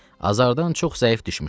Azardan çox zəif düşmüşdü.